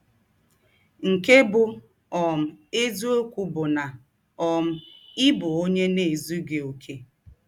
Nke bụ́ um eziọkwụ bụ na um ị bụ ọnye na - ezụghị ọkè.